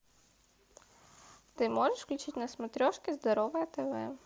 ты можешь включить на смотрешке здоровое тв